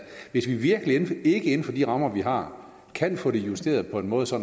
vi virkelig ikke inden for de rammer vi har kan få det justeret på en måde så